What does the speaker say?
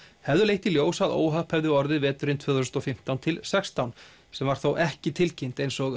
hefðu leitt í ljós að óhapp hefði orðið veturinn tvö þúsund og fimmtán til sextán sem var þó ekki tilkynnt eins og